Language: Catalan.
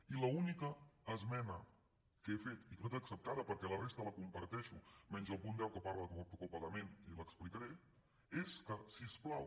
i l’única esmena que he fet i que no ha estat acceptada perquè la resta la comparteixo menys el punt deu que parla de copagament i l’explicaré és que si us plau